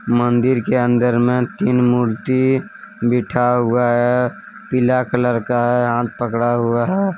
मंदिर के अंदर में तीन मूर्ति बिठा हुआ है पीला कलर का है हाथ पकड़ा हुआ है।